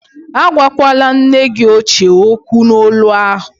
Agwakwala nne gi ochie okwu n'olu ahụ!